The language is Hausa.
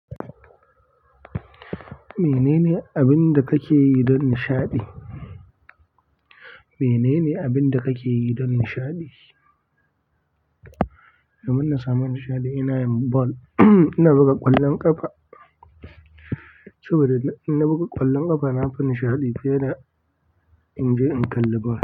Menene abin da kake yi don nishaɗi? Menene abin da kake yi don nishaɗi? Domin na samu nishaɗi ina yin ball. Ina buga ƙwallon ƙafa saboda ina buga ƙwallon ƙafa na fi nishaɗi fiye da in je in kalli ball.